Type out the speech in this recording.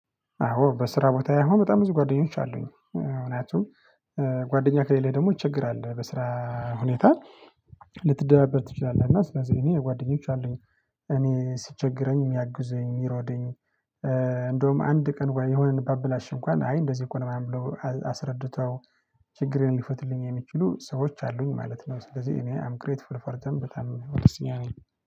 አዎ በስራ ቦታየ አሁን በጣም ብዙ ጓደኞች አሉኝ ምክንያቱም ጓደኛ ከሌለ ደግሞ ይቸግራል በስራ ሁኔታ ልትደበር ትችላለህ እና ስለዚህ እኔ ጓደኞች አሉኝ። እኔ ሲቸግረኝ የሚያግዙኝ የሚረዱኝ። እንዳዉም አንድ ቀን እንኳ የሆነ ብታበላሽ እንኳን አይ እንደዚህ እኮ ነው ምናምን ብለው አስረድተው ችግሬን ሊፈቱልኝ የሚችሉ ሰዎች አሉኝ ማለት ነው። ስለዚህ እኔ አም ግሬትፉል ፐርሰን በጣም ደስተኛ ነኘ